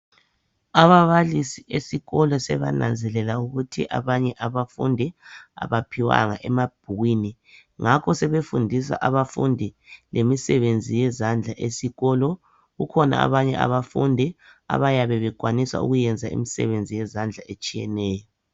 Ababalisi esikolo sebananzelela ukuthi abanye abafundi abaphiwanga emabhukwini ngakho sebefundisa abafundi lemisebenzi yezandla esikolo kukhona abanye abafundi abayabe bekwanisa ukuyenza imisebenzi yezandla etshiyeneyo.